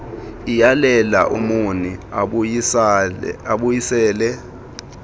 iyalela umoni abuyisele